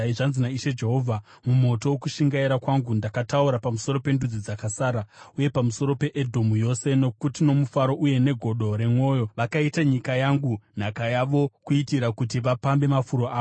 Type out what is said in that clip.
zvanzi naIshe Jehovha: Mumoto wokushingaira kwangu, ndakataura pamusoro pendudzi dzakasara, uye pamusoro peEdhomu yose, nokuti nomufaro uye negodo remwoyo yavo vakaita nyika yangu nhaka yavo kuitira kuti vapambe mafuro avo.’